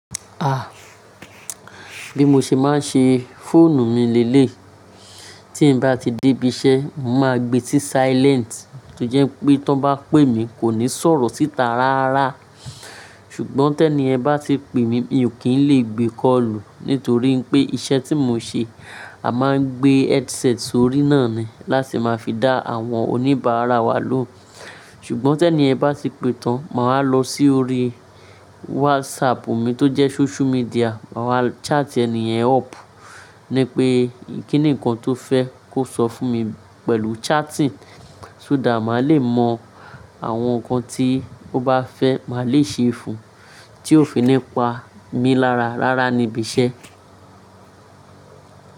Ah! Bí mo ṣe máa ń ṣe fóònù mi lẹ́lẹ̀, tí mo bá ti dé ibi iṣẹ́, màá gbé sí silent tó jẹ́ pé tí wọ́n bá pè mí, kò ní sọ̀rọ̀ síta rárá. Ṣùgbọ́n tẹ́ẹ̀ní ẹ bá ti pè mí, mi ò kí ń lè gbé kọ́lù nítorí pé iṣẹ́ tí mo ń ṣe, a máa ń gbé headset sórí náà ni láti máa fi dá àwọn oníbàárà wa lóun. Ṣùgbọ́n tẹ́ẹ̀ní ẹ bá ti pè tán, màá lọ sórí WhatsApp mi tó jẹ́ social media, màá chat ẹni ẹ̀ up ní pé kíni nǹkan tó fẹ́ kó sọ fún mi pẹ̀lú chatting. Só thát má lè mọ àwọn nǹkan tí ó bá fẹ́, màá lè ṣe é fún un tí ó fi ní pa mí lára rárá níbi iṣẹ́.